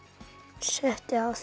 settu á þig